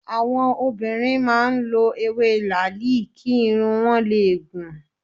Àwọn obìnrin máa ń lọ ewé làáàlì kí irun wọn le gùn.